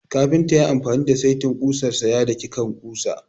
Kafinta ya yi amfani da saitin kusar sa ya daki kan ƙusa.